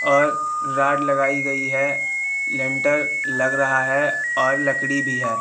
और रॉड लगाई गई है लेंटर लग रहा है और लकड़ी भी है।